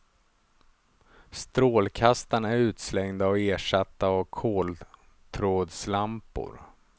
Strålkastarna är utslängda och ersatta av koltrådslampor.